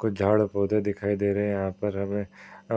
कुछ झाड़ पौधे दिखाई दे रहे हैं। यहाँ पर हमे